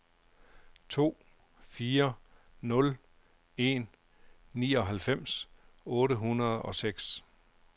to fire nul en nioghalvfems otte hundrede og seks